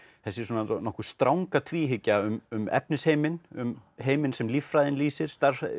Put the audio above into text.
þessi svona nokkuð stranga tvíhyggja um um efnisheiminn um heiminn sem líffræðin lýsir